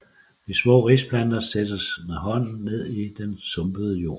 De små risplanter sættes med hånden ned i den sumpede jord